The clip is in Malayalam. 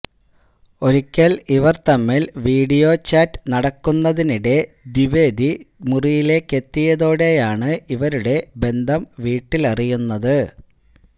ഒരിക്കല് ഇവര് തമ്മില് വീഡിയോ ചാറ്റ് നടക്കുന്നതിനിടെ ദ്വിവേദി മുറിയിലേക്കെത്തിയതോടെയാണ് ഇവരുടെ ബന്ധം വീട്ടിലറിയുന്നത്